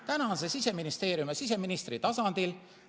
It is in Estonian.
Täna on see Siseministeeriumi ja siseministri tasandil.